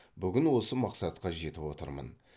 бүгін осы мақсатқа жетіп отырмын